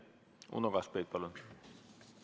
Uno Kaskpeit, palun!